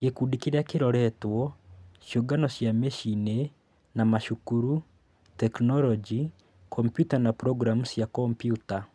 Gĩkundi kĩrĩa kĩroretwo: Ciũngano cia mĩciĩ-inĩ na macukuru Tekinoronjĩ: Kompiuta na programu cia kompiuta